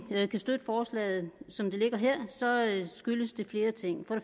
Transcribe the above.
kan støtte forslaget som det ligger her skyldes det flere ting for